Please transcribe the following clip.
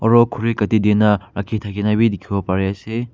aro khori kaati di na rakhi thaki ne bi dikhibo pare ase.